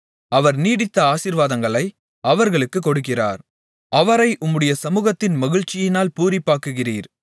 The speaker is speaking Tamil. அவர் நீடித்த ஆசீர்வாதங்களை அவர்களுக்கு கொடுக்கிறார் அவரை உம்முடைய சமுகத்தின் மகிழ்ச்சியினால் பூரிப்பாக்குகிறீர்